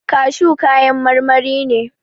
Kashu kayan marmari ne.